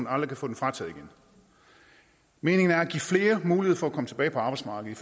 aldrig kan få den frataget igen meningen er at give flere mulighed for at komme tilbage på arbejdsmarkedet